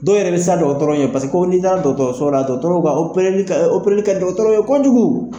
Dɔw yɛrɛ be siran dɔgɔtɔrɔ ɲɛ. Paseke ko ni taara dɔgɔtɔrɔso la dɔgɔtɔrɔw ba, ka di dɔgɔtɔrɔw ye kojugu.